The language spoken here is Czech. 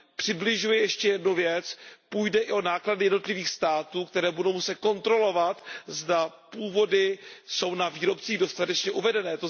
Přibližuje ještě jednu věc, půjde i o náklady jednotlivých států, které budou muset kontrolovat, zda původy jsou na výrobcích dostatečně uvedené.